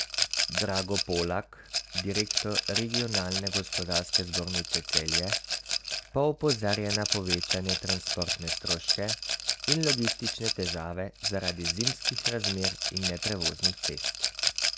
Drago Polak, direktor Regionalne gospodarske zbornice Celje, pa opozarja na povečane transportne stroške in logistične težave zaradi zimskih razmer in neprevoznih cest.